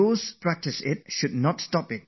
If you do Yoga, keep doing it